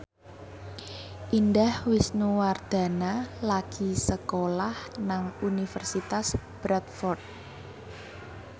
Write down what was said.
Indah Wisnuwardana lagi sekolah nang Universitas Bradford